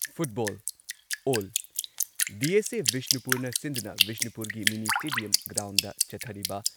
Football all DSA. ꯕꯤꯁꯅꯨꯄꯨꯔꯅ ꯁꯤꯟꯗꯨꯅ ꯕꯤꯁꯅꯨꯄꯨꯔꯒꯤ ꯃꯤꯅꯤ ꯁ꯭ꯇꯦꯗꯤꯌꯝ ꯒ꯭ꯔꯥꯎꯟꯗ ꯆꯠꯊꯔꯤꯕ